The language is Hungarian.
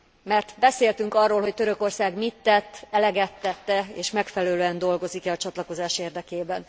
Mert beszéltünk arról, hogy Törökország mit tett, eleget tett e és megfelelően dolgozik e a csatlakozás érdekében.